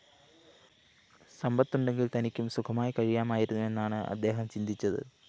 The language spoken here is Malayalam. സമ്പത്തുണ്ടെങ്കില്‍ തനിക്കും സുഖമായി കഴിയാമായിരുന്നു എന്നാണ് അദ്ദേഹം ചിന്തിച്ചത്